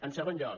en segon lloc